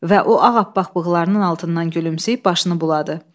Və o ağappaq bığlarının altından gülümsəyib başını buladı.